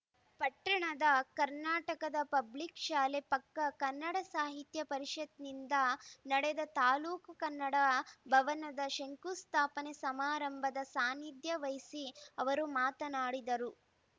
ಪಟ್ಟಣದ ಕರ್ನಾಟಕದ ಪಬ್ಲಿಕ್‌ ಶಾಲೆ ಪಕ್ಕ ಕನ್ನಡ ಸಾಹಿತ್ಯ ಪರಿಷತ್‌ನಿಂದ ನಡೆದ ತಾಲೂಕ್ ಕನ್ನಡ ಭವನದ ಶಂಕುಸ್ಥಾಪನೆ ಸಮಾರಂಭದ ಸಾನಿಧ್ಯ ವಹಿಸಿ ಅವರು ಮಾತನಾಡಿದರು